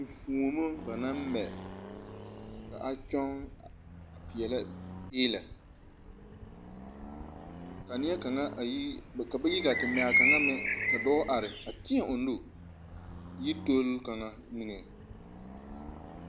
Enfoomo ba naŋ mɛ ka a kyɔŋ a peɛlɛ èèlɛ, ka ba ye gaa te mɛ a kaŋa ka dɔɔ teɛ o nu yi tol kaŋa mine.